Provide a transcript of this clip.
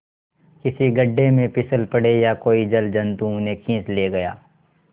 किसी गढ़े में फिसल पड़े या कोई जलजंतु उन्हें खींच ले गया